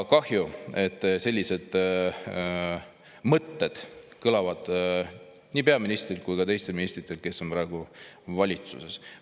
Kahju, et sellised mõtted kõlavad nii peaministrilt kui ka teistelt ministritelt, kes on praegu valitsuses.